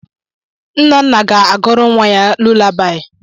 Nnanna ga-agụrụ nwa gị lulabaị.